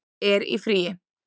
er í fríi